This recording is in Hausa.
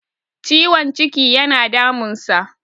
ciwon ciki yana damunsa